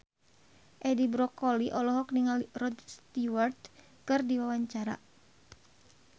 Edi Brokoli olohok ningali Rod Stewart keur diwawancara